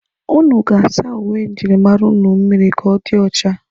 Ụnụ ga-asa uwe njirimara ụnụ mmịrị ka ọ dị ọcha.